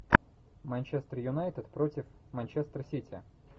манчестер юнайтед против манчестер сити